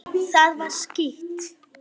Það var skítt.